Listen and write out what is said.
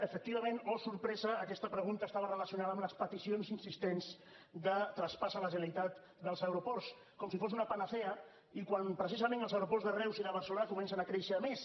efectivament oh sorpresa aquesta pregunta estava relacionada amb les peticions insistents de traspàs a la generalitat dels aeroports com si fos una panacea i quan precisament els aeroports de reus i de barcelona comencen a créixer més